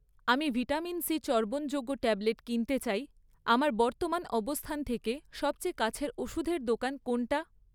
আমি vitamin C চর্বণযোগ্য tablet কিনতে চাই, আমার বর্তমান অবস্থান থেকে সবচেয়ে কাছের ওষুধের দোকান কোনটা?